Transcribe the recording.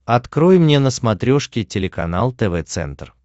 открой мне на смотрешке телеканал тв центр